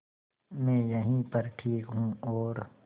मैं यहीं पर ठीक हूँ और